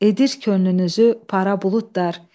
Edir könlünüzü para buludlar.